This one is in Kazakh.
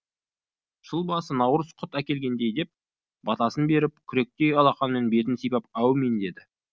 жыл басы наурыз құт әкелгей деп батасын беріп күректей алақанымен бетін сипап әумин деді